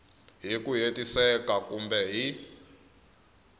hi ku hetiseka kumbe hi